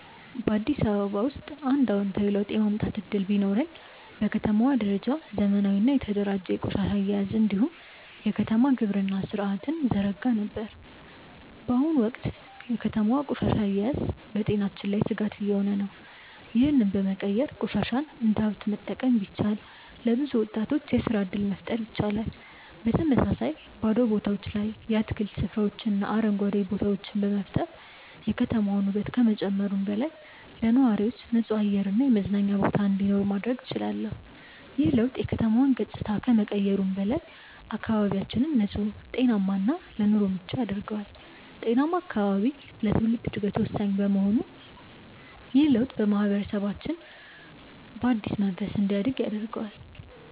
በአዲስ አበባ ውስጥ አንድ አዎንታዊ ለውጥ የማምጣት እድል ቢኖረኝ፣ በከተማዋ ደረጃ ዘመናዊና የተደራጀ የቆሻሻ አያያዝ እንዲሁም የከተማ ግብርና ሥርዓትን እዘረጋ ነበር። በአሁኑ ወቅት የከተማዋ ቆሻሻ አያያዝ በጤናችን ላይ ስጋት እየሆነ ነው፤ ይህንን በመቀየር ቆሻሻን እንደ ሀብት መጠቀም ቢቻል፣ ለብዙ ወጣቶች የስራ እድል መፍጠር ይቻላል። በተመሳሳይ፣ በባዶ ቦታዎች ላይ የአትክልት ስፍራዎችንና አረንጓዴ ቦታዎችን በመፍጠር የከተማዋን ውበት ከመጨመሩም በላይ፣ ለነዋሪዎች ንጹህ አየር እና የመዝናኛ ቦታ እንዲኖር ማድረግ እችላለሁ። ይህ ለውጥ የከተማዋን ገጽታ ከመቀየሩም በላይ፣ አካባቢያችንን ንጹህ፣ ጤናማ እና ለኑሮ ምቹ ያደርገዋል። ጤናማ አካባቢ ለትውልድ ዕድገት ወሳኝ በመሆኑ ይህ ለውጥ ማህበረሰባችንን በአዲስ መንፈስ እንዲያድግ ያደርገዋል።